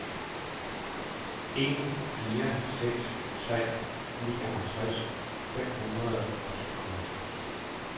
en fire seks tre nioghalvtreds fem hundrede og tooghalvfems